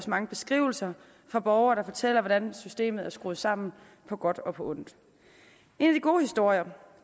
mange beskrivelser fra borgere der fortæller hvordan systemet er skruet sammen på godt og på ondt en af de gode historier